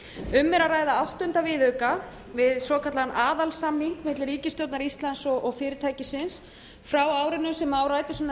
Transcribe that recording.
er að ræða áttunda viðauka við svokallaðan aðalsamning milli ríkisstjórnar íslands og fyrirtækisins frá árinu sem á rætur sínar að